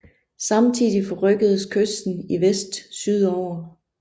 Samtidig forrykkedes kysten i vest sydover